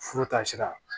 Furu ta sira